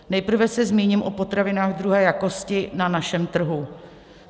Nejprve se zmíním o potravinách druhé jakosti na našem trhu.